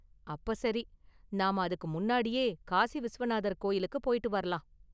அப்ப சரி, நாம அதுக்கு முன்னாடியே காசி விஸ்வநாதர் கோயிலுக்கு போயிட்டு வரலாம்!